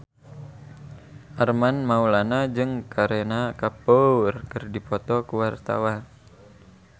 Armand Maulana jeung Kareena Kapoor keur dipoto ku wartawan